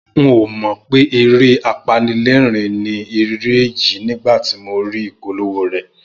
N ò mọ̀ pé eré apanilẹ́rìn-ín ni eré yìí nígbà tí mo rí ìpolówó rẹ̀